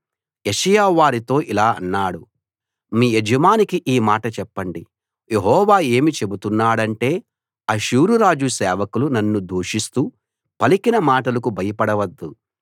యెషయా వారితో ఇలా అన్నాడు మీ యజమానికి ఈ మాట చెప్పండి యెహోవా ఏమి చెబుతున్నాడంటే అష్షూరు రాజు సేవకులు నన్ను దూషిస్తూ పలికిన మాటలకు భయపడవద్దు